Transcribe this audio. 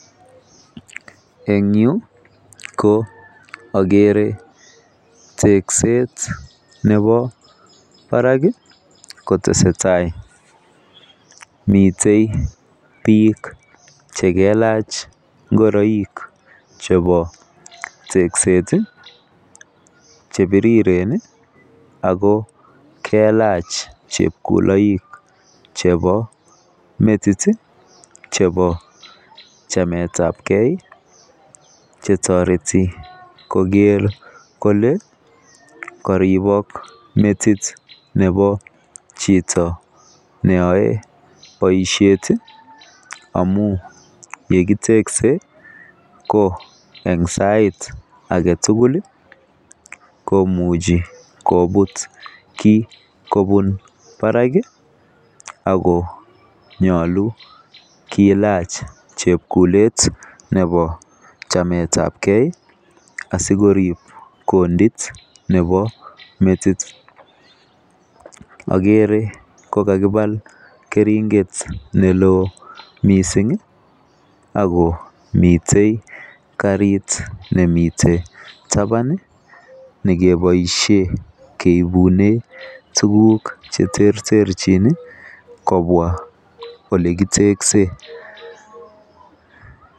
En Yu ko agere tekset Nebo Barak netesetai miten bik chelelach ingoroik bik chebo tekset chebiriren ago kelach chekoloik chebo metit chebo chamet ab gei chetareti Koger Kole karibok metit Nebo Chito neyae baishet amun yekitekse ko en sait agetugul komuche kobut. Ki kobun Barak akonyalu kolach chebkulet Nebo chamet ab gei asikorib kondit Nebo metit agere kokakibal keringet melon mising akomiten karit nemiten taban nekibaishen keibunen tuguk cheterterchin kobwa elekiteksen